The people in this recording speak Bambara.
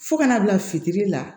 Fo ka na bila fitiri la